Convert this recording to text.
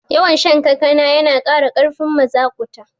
Yawan shan kankana yana kara karfin mazaƙuta